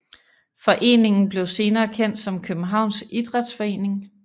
Foreningen blev senere kendt som Københavns Idræts Forening